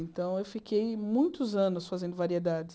Então, eu fiquei muitos anos fazendo variedades.